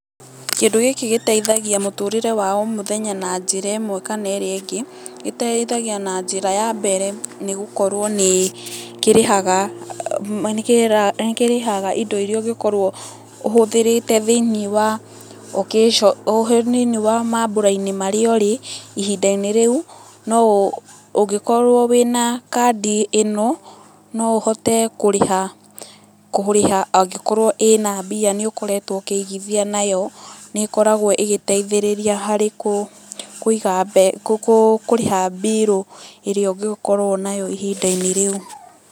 Kĩndũ gĩkĩ gĩteithagia mũtũrĩre wa o mũthenya na njĩra ĩmwe kana ĩrĩa ĩngĩ, gĩteithagia na njĩra ya mbere nĩ gũkorwo, nĩ kĩrĩhaga indo iria ũngĩkorwo ũhũthĩrĩte thĩiniĩ wa mambura-inĩ marĩa ũrĩ ihinda-inĩ rĩu. No ũngĩkorwo wĩna kandi ĩno no ũhote kũrĩha angikorwo ina mbia ni ũkoretwo ũkĩigithia nayo, nĩ ĩkoragwo ĩgĩteithĩrĩria harĩ kũrĩha mbirũ ĩrĩa ũngĩgĩkorwo nayo ihinda-inĩ rĩu.